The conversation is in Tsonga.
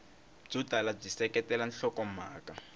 byo tala byi seketela nhlokomhaka